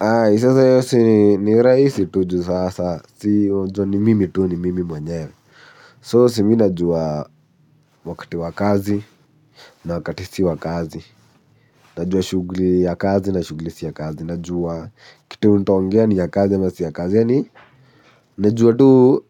Ay, sasa hiyo si ni rahisi tu juu sasa, si wajua ni mimi tu ni mimi mwenyewe. So, si minajua wakati wakazi na wakati si wakazi. Najua shughuli ya kazi na shughuli si ya kazi. Najua kitu utaongea ni ya kazi ama si ya kazi. Yaani, najua tu